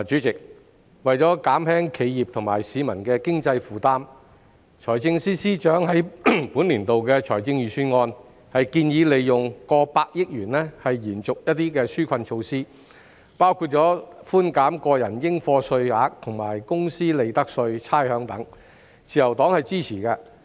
代理主席，為減輕企業和市民的經濟負擔，財政司司長在本年度的財政預算案建議利用過百億元延續一些紓困措施，包括寬減個人應課稅額、公司利得稅及差餉等，自由黨是支持的。